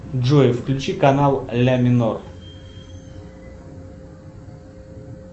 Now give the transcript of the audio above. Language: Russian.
джой включи канал ля минор